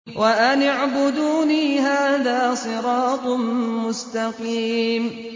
وَأَنِ اعْبُدُونِي ۚ هَٰذَا صِرَاطٌ مُّسْتَقِيمٌ